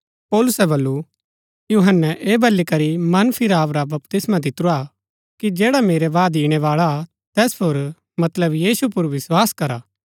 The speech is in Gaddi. पौलुसै बल्लू यूहन्‍नै ऐह बली करी मन फिराव रा बपतिस्मा दितुरा कि जैडा मेरै बाद ईणैबाळा हा तैस पुर मतलब यीशु पुर विस्वास करा